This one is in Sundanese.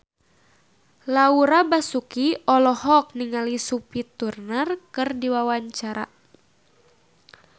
Laura Basuki olohok ningali Sophie Turner keur diwawancara